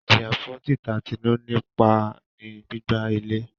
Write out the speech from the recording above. Ijiya fun tita Tinu nipa ni gbigba ilẹ